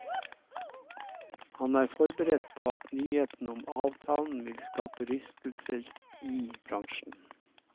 Han er forberedt på at nyheten om avtalen vil skape rystelser i bransjen.